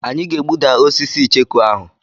Anyị ga-egbuda osisi icheku ahụ.